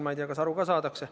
Ma ei tea, kas aru saadakse.